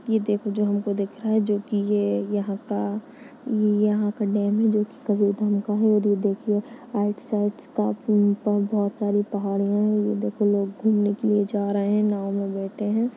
ये देखो जो हमको दिख रहा है जोकि ये यहाँ का ये यहाँ का डेम है जोकि कबीरधाम का है और वो देखिये आइड साइड्स काफी पौधा चारो पहाड़िया है ये देखो लोग घूमने के लिए जा रहे है नाव में बैठे है।